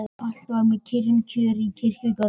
Allt var með kyrrum kjörum í kirkjugarðinum.